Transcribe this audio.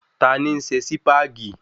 Ta ni ń se Sípàgì?